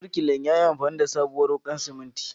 Birkilan yayi amfani da sabuwar wuƙar simintin.